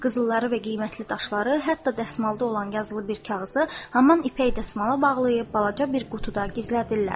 Qızılları və qiymətli daşları, hətta dəsmalda olan yazılı bir kağızı həmin ipək dəsmala bağlayıb balaca bir qutuda gizlədirlər.